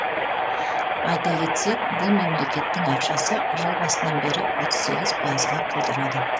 айта кетсек бұл мемлекеттің ақшасы жыл басынан бері отыз сегіз пайызға құлдырады